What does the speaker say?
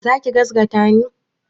Za ki gazgata ni?